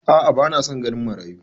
A'a ba na san ganin marayu.